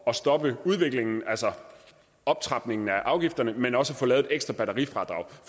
at stoppe udviklingen altså optrapningen af afgifterne men også at få lavet et ekstra batterifradrag